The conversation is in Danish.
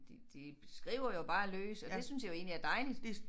De de skriver jo bare løs og det synes jeg jo egentlig er dejligt